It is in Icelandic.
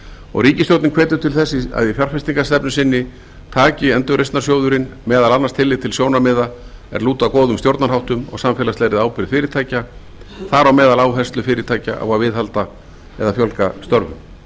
og ríkisstjórnin hvetur til þess að í fjárfestingarstefnu sinni taki endurreisnarsjóðurinn meðal annars tillit til sjónarmiða er lúta að góðum stjórnarháttum og samfélagslegri ábyrgð fyrirtækja þar á meðal áherslu fyrirtækja á að viðhalda eða fjölga störfum